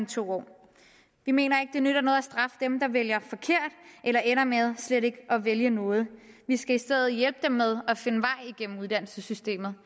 to år vi mener ikke det nytter noget at straffe dem der vælger forkert eller ender med slet ikke at vælge noget vi skal i stedet for hjælpe dem med at finde vej igennem uddannelsessystemet